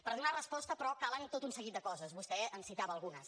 per donar resposta però calen tot un seguit de coses vostè en citava algunes